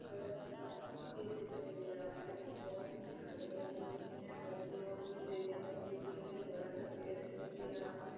बड़ा सा घना सा पेड़ दिखाई दे रहा हैं जिसमे बोहोत सी झाड़िया लगी हुई हैं। बल्लियों की रेलिंग लगी हुई है। बड़ा सा पेड़ दिखाई दे रहा हैं ।